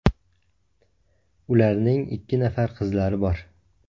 Ularning ikki nafar qizlari bor.